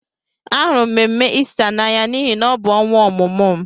Ahụrụ m mmemme Ista n'anya n'ihi na ọ bụ ọnwa ọmụmụ m.